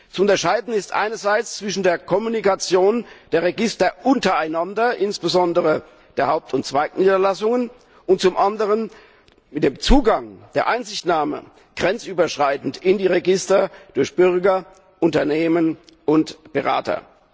Zu unterscheiden ist einerseits zwischen der Kommunikation der Register untereinander, insbesondere der Haupt und Zweigniederlassungen, und zum anderen dem Zugang, der grenzüberschreitenden Einsichtnahme in die Register durch Bürger, Unternehmen und Berater.